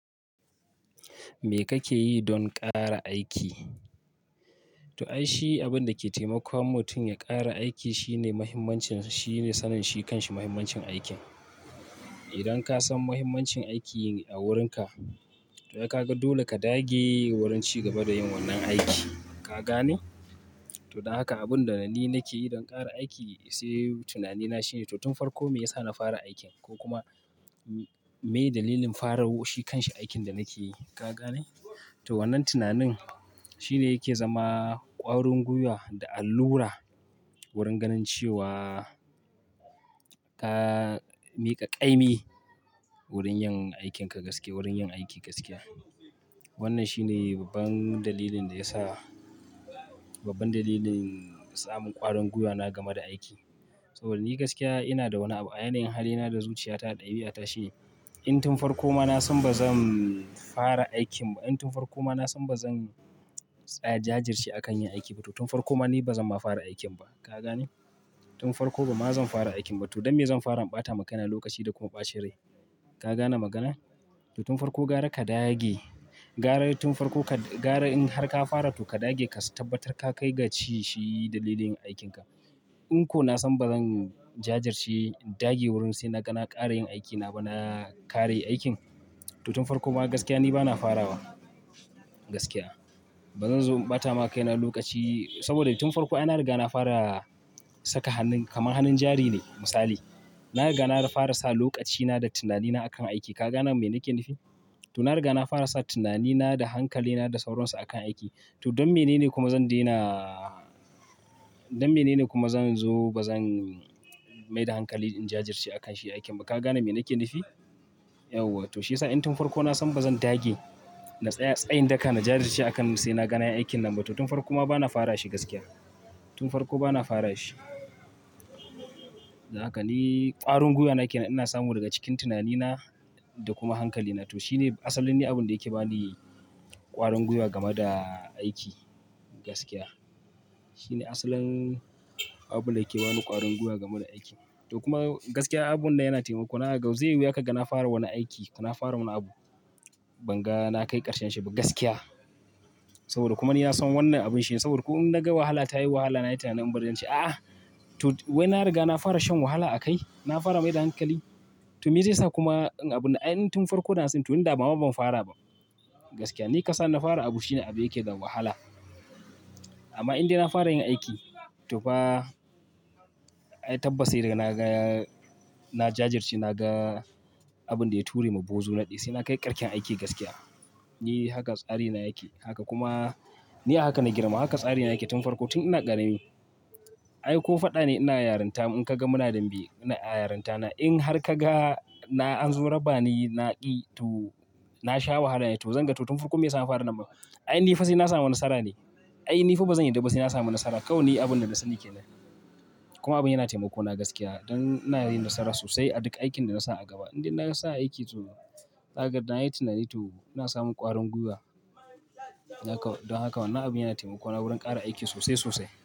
Me kake yi don ƙara aiki? To ai shi abin da ke taimakawa mutum ya ƙara aiki shine mahimmancin, shine sanin shi kan shi mahimmancin aikin. Idan ka san mahimmancin aiki a wurinka to ai ka ga dole ka dage wurin ci gaba da yin wannan aiki. Ka gane? To don haka abin da ni nake yi don ƙara aiki sai tunanina shine to tun farko me yasa na fara aikin ko kuma me dalilin fara shi kan shi aikin da nake yi. Ka gane? To wannan tunanin shine yake zama ƙwarin gwuiwa da allura wurin ganin cewa ka miƙa ƙaimi wurin yin aikinka gaske, wurin yin aiki gaskiya. Wannan shine babban dalilin da ya sa, babban dalilin samun ƙwarin gwuiwa game da aiki. To ni gaskiya ina da wani abu a yanayin halina da zuciyata ɗabi'ata shine in tun farko ma na san ba zan fara aikin ba, in tun farko ma na san ba zan tsaya jajirce a kan yin aiki ba to tun farko ma ni ba zan ma fara aikin ba. Ka gane? Tun farko ba ma zan fara aikin ba. To don me zan fara in ɓata ma kaina lokaci da kuma ɓacin rai. Ka gane magana? To tun farko gara ka dage, gara tun farko ka, gara in har ka fara to ka dage ka tabbatar ka kai ga ci shi dalilin aikinka. In ko na san ba zan jajirce dage wurin sai na, na ƙare yin aikina ba na ƙare aikin to tun farko ma gaskiya ni bana fara wa. Gaskiya. Ba zan zo in ɓata makaina lokaci saboda tun farko ai na riga na fara saka hannun kamar hannun jari ne misali. Na riga na fara sa lokacina da tunanina a kan aikin. Ka gane me nake nufi? To na riga na fara sa tunanina da hankalina da sauronsa a kan aiki. To don menene kuma zan daina, don menene kuma zan zo ba zan mai da hankali in jajirce a kan shi aikin ba. Ka gane me nake nufi? Yauwa to shi ya sa in tun farko na san ba zan dage na tsaya, tsayin daka na jajirce a kan sai na ga na yi aikin nan ba to tun farko ma bana fara shi gaskiya. Tun farko bana fara shi. Haka ni ƙwarin gwuiwa na ke nan ina samu daga cikin tunanina da kuma hankalina. To shi ne asalin ni abinda yake ba ni ƙwarin gwuiwa game da aiki gaskiya. Shi ne asalin abin da yake ba ni ƙwarin guya game da aiki. To kuma gaskiya abubuwan nan yana taimako na zaka ga zai yi wuya kaga na fara wani aiki ko na fara wani abu. Ban ga na kai ƙarshen shi ba gaskiya. Saboda kuma ni na san wannan abun shine saboda ko in na ga wahala ta yi wahala na yi tunanin in bari zan ce. A'a! To wai na riga na fara shan wahala a kai, na fara mai da hankali. To meye zai sa kuma in abun nan, ai in tun farko da na sani to ni dama ban fara ba gaskiya. Ni ka sa ni na fara abu shine abu yake da wahala. Amma in dai na fara yin aiki to ba, ai tabbas sai dai na ga, na jajirce na ga abin da ya turde ma bozo na ɗi sai na kai ƙarshen aiki gaskiya. Ni haka tsari na yake. Haka kuma ni a haka na girma. Haka tsari na yake tun farko tun ina ƙarami. Ai ko faɗa ne ina yaranta mun ka ga muna dambe na a yarintana in har ka ga na an zo raba ni na ƙi to na sha wahala ne to zan ga to tun farko me ya sa na fara damben. Ai ni fa sai na samu nasara ne. Ai ni fa ba zan yarda ba sai na samu nasara. Kawai ne abun da nasani ke nan. Kuma abin yana taimako na gaskiya don ina yin nasara sosai a duk aikin da na sa a gaba. In dai na sa aiki to za ka ga da na yi tunani to ina samun ƙwarin gwuiwa. Haka don haka wannan abin yana taimako na wurin ƙare aiki sosai sosai.